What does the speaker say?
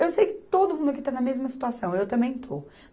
Eu sei que todo mundo aqui está na mesma situação, eu também estou.